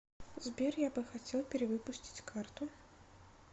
сбер я бы хотел перевыпустить карту